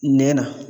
Nɛn na